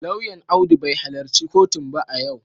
Lauyan Audu bai halarci kotun ba a yau